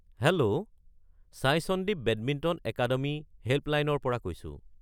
Hello! Sai Sandeep badminton academy হেল্পলাইনৰ পৰা কৈছো।